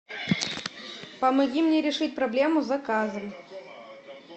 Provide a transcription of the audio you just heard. помоги мне решить проблему с заказом